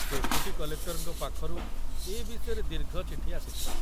Deputy କଲେକ୍ଟରଙ୍କ ପାଖରୁ ଏ ବିଷୟରେ ଦୀର୍ଘ ଚିଠି ଆସିଥିଲା।